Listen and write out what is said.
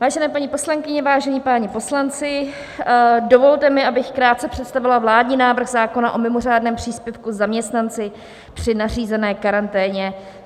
Vážené paní poslankyně, vážení páni poslanci, dovolte mi, abych krátce představila vládní návrh zákona o mimořádném příspěvku zaměstnanci při nařízené karanténě.